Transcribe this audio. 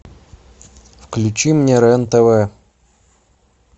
включи мне рен тв